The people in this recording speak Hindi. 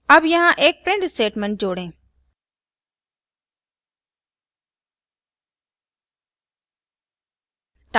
add यहाँ एक print statement जोड़ें